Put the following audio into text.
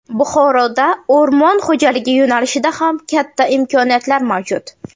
Buxoroda o‘rmon xo‘jaligi yo‘nalishida ham katta imkoniyatlar mavjud.